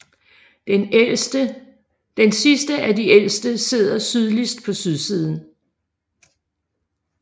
Den sidste af de ældste sidder sydligst på sydsiden